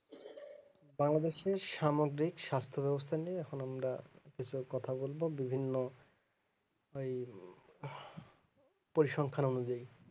বাংলাদেশ এর সামগ্রিক স্বাস্থ ব্যবস্থা নিয়ে এখন আমরা বিষয়ে কথা বলবো বিভিন্ন ওই পরিসংখ্যার অনুযায়ী